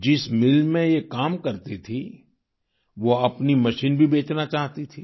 जिस मिल में ये काम करती थीं वो अपनी मशीन भी बेचना चाहती थी